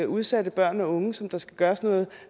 udsatte børn og unge som der skal gøres noget